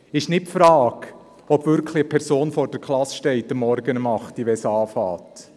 Es ist nicht die Frage, ob wirklich jemand morgens um 8 Uhr vor der Klasse steht, wenn der Unterricht beginnt.